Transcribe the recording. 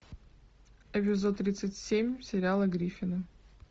эпизод тридцать семь сериала гриффины